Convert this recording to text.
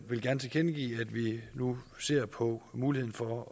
vil gerne tilkendegive at vi nu ser på muligheden for at